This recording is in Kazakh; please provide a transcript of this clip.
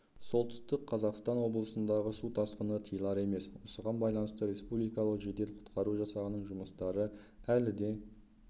солтүстік қазақстан облысындағы су тасқыны тиылар емес осыған байланысты республикалық жедел құтқару жасағының жұмыстары әлі де